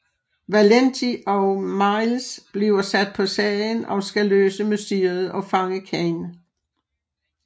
Valenti og Miles bliver sat på sagen og skal løse mysteriet og fange Kane